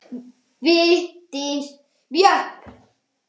Vigdís Björk.